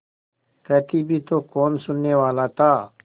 कहती भी तो कौन सुनने वाला था